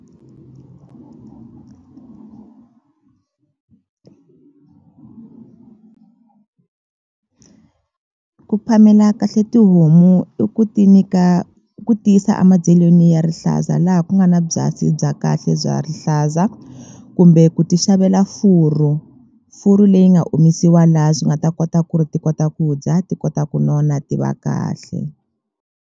Ku phamela kahle tihomu i ku ti nyika i ku tiyisa a mabyalweni ya rihlaza laha ku nga na byasi bya kahle bya rihlaza kumbe ku ti xavela furu furu leyi nga omisiwa laha swi nga ta kota ku ri ti kota ku dya ti kota ku nona ti va kahle.